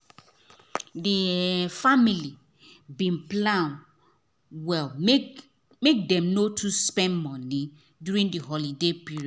the um family bin plan well make um dem no too spend money during the holiday period